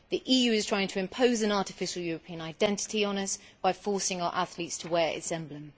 The EU is trying to impose an artificial European identity on us by forcing our athletes to wear its emblem.